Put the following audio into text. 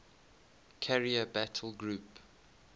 carrier battle group